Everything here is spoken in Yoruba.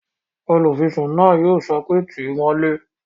Olùfisùn náà yóò sọ pé "tíì mọ́lé!"